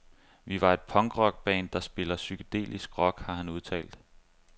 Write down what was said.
Vi er et punkrock band, der spiller psykedelisk rock, har han udtalt.